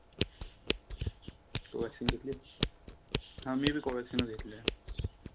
COVACCINE vaccine घेतलीय? हा मी बी COVACCINE च घेतलीया.